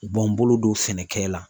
U b'an bolo don sɛnɛkɛ la.